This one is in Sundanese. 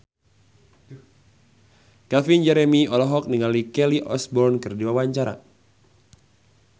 Calvin Jeremy olohok ningali Kelly Osbourne keur diwawancara